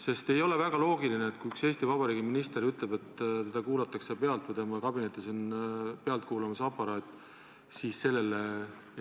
Sest ei ole väga loogiline, et kui üks Eesti Vabariigi minister ütleb, et teda kuulatakse pealt või tema kabinetis on pealtkuulamisaparaat, siis sellele